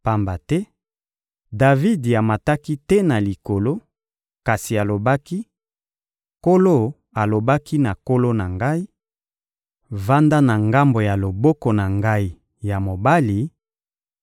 Pamba te, Davidi amataki te na Likolo, kasi alobaki: «Nkolo alobaki na Nkolo na ngai: ‹Vanda na ngambo ya loboko na Ngai ya mobali